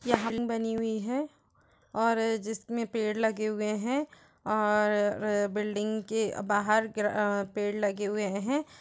यहाँ न् बनी हुई हैं और जिसमे पेड़ लगे हुए हैं और र् बिल्डिंग के बाहर अं पेड़ लगे हुए हैं।